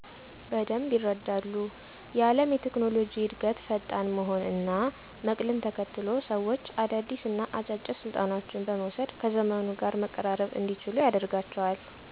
በደንብ ይረዳሉ። የአለም የቴክኖሎጂ እድገት ፈጣን መሆን እና መቅልን ተከትሎ ሰዎች አዳዲስ እና አጫጭር ስልጠናዎችን በመውስድ ከዘመኑ ጋር መቀራረብ እንዲችሉ ያደርጋቸዋል።